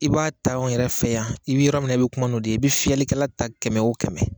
I b'a ta an yɛrɛ fɛ yan i bɛ yɔrɔ min na i bɛ kuma n'o de ye i bi fiyɛlikɛla ta kɛmɛ o kɛmɛ